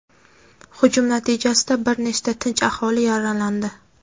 hujum natijasida bir nechta tinch aholi yaralandi.